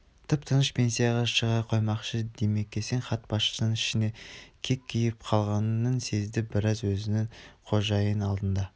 тып-тыныш пенсияға шыға қоймақшы димекең бас хатшының ішіне кек түйіп қалғанын сезді бірақ өзінің қожайын алдында